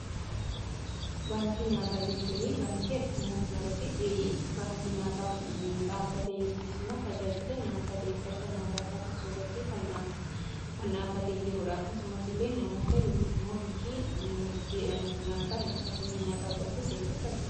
Baankii nyaataa jechuun baankii addunyaa kana irratti baankii nyaataaf dhaabbate yookiis immoo tajaajila nyaataa deeggarsa nyaataa taasiisuurratti kan dhaabbatee jiruudha. Akkasumas illee namoota yookiis immoo biyyi dinagdeedhaan nyaataa hir'ina nyaataa qabdu deeggarsa kan barbaaddudha.